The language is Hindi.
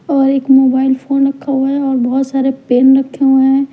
और एक मोबाइल फोन रखा हुआ है और बहुत सारे पेन रखे हुए हैं।